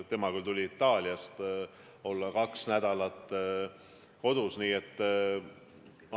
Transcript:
Tema tuli Itaaliast ja on otsustanud kaks nädalat kodus olla.